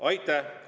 Aitäh!